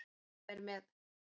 sem er með